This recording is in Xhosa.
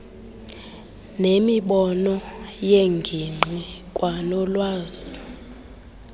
nemibono yengingqi kwanolwazi